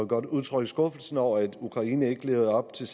godt udtrykke skuffelse over at ukraine ikke levede op til